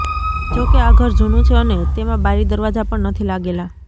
જો કે આ ઘર જુનું છે અને તેમાં બારી દરવાજા પણ નથી લાગેલા